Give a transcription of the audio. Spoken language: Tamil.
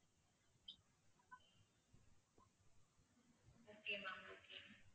okay ma'am okay